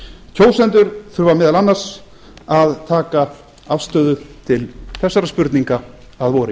kjósendur þurfa meðal annars að taka afstöðu til þessara spurninga að vori